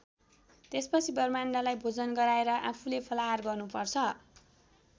त्यसपछि ब्राह्मणलाई भोजन गराएर आफूले फलाहार गर्नुपर्छ।